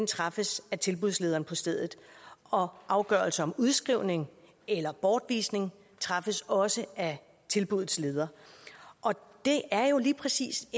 træffes af tilbudslederen på stedet og afgørelser om udskrivning eller bortvisning træffes også af tilbuddets leder det er jo lige præcis